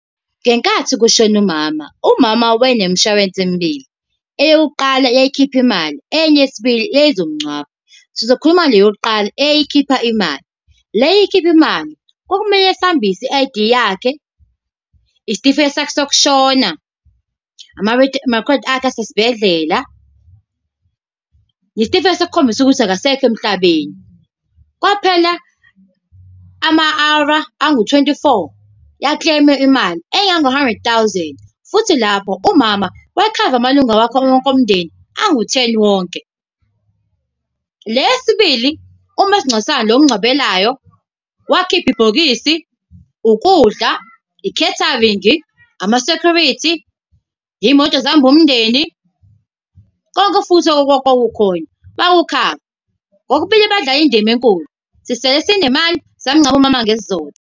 Ngenkathi kushone umama, umama wayenemishwalense emibili. Eyokuqala yayikhipha imali, enye yesibili yayizomngcwaba. Sizokhuluma ngale yokuqala eyayikhipha imali. Le eyayikhipha imali, kwakumele sihambise i-I_D yakhe, isitifiketi sakhe sokushona, amarekhodi akhe asesibhedlela, isitifiketi sokukhombisa ukuthi akasekho emhlabeni. Kwaphela ama-hour angu twenty-four ya-claim-a imali, engango-hundred thousand. Futhi lapho umama wayekhave amalunga wakhe wonke omndeni angu-ten wonke. Le yesibili, umasingcwabisane lo omngcwabelayo, wakhipha ibhokisi, ukudla, i-catering, ama-security. Iy'moto ezihamba umndeni, konke futhi okwakukhona bakukhava, kokubili badlale indima enkulu, sisele sinemali, samngcwaba umama ngesizotha.